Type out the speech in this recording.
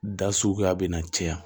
Da suguya bɛ na caya